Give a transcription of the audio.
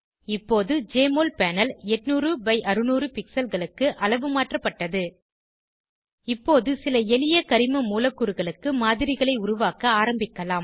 இப்போது JMOL panel 800 by 600 pixelகளுக்கு அளவுமாற்றப்பட்டது இப்போது சில எளிய கரிம மூலக்கூறுகளுக்கு மாதிரிகளை உருவாக்க ஆரம்பிக்கலாம்